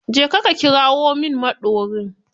Je ka ka kirawo min maɗorin